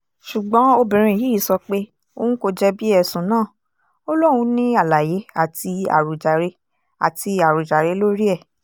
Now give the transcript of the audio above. ṣùgbọ́n obìnrin yìí sọ pé òun kò jẹ̀bi ẹ̀sùn náà ò lóun ní àlàyé àti àròjàre àti àròjàre lórí ẹ̀